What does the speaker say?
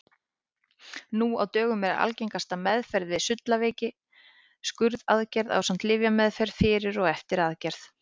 Nú á dögum er algengasta meðferð við sullaveiki skurðaðgerð ásamt lyfjameðferð fyrir og eftir aðgerð.